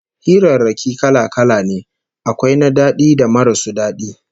Hirarraki kala-kala ne, akwai na daɗi da marasu daɗi